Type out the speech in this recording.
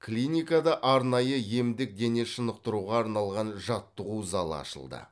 клиникада арнайы емдік дене шынықтыруға арналған жаттығу залы ашылды